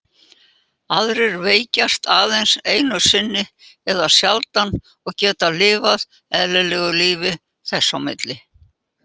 Aðrir veikjast aðeins einu sinni eða sjaldan og geta lifað eðlilegu lífi þess á milli.